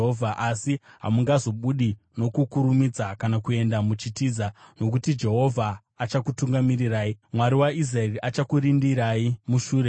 Asi hamungazobudi nokukurumidza kana kuenda muchitiza; nokuti Jehovha achakutungamirirai, Mwari waIsraeri achakurindai mushure.